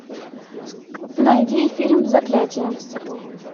найди фильм заклятие